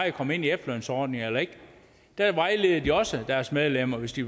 at komme ind i efterlønsordningen eller ikke der vejleder de også deres medlemmer hvis de